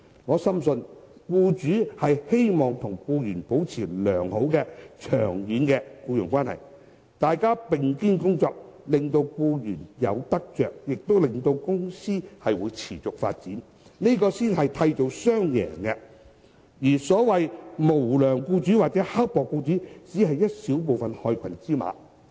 我深信僱主希望與僱員保持良好、長遠的僱傭關係，大家並肩工作，令到僱員有得着，亦令到公司持續發展，這才能夠締造雙贏，而所謂無良或刻薄僱主只是小部分的害群之馬。